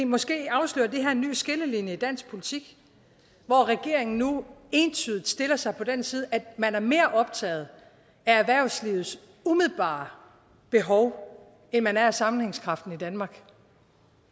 måske afslører det her en ny skillelinje i dansk politik hvor regeringen nu entydigt stiller sig på den side at man er mere optaget af erhvervslivets umiddelbare behov end man er af sammenhængskraften i danmark